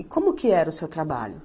E como que era o seu trabalho?